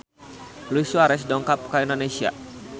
Luis Suarez dongkap ka Indonesia